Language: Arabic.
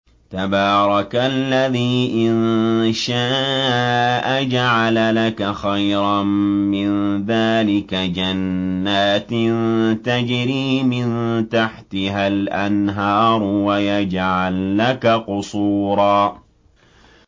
تَبَارَكَ الَّذِي إِن شَاءَ جَعَلَ لَكَ خَيْرًا مِّن ذَٰلِكَ جَنَّاتٍ تَجْرِي مِن تَحْتِهَا الْأَنْهَارُ وَيَجْعَل لَّكَ قُصُورًا